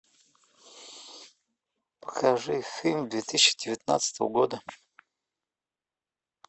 покажи фильм две тысячи девятнадцатого года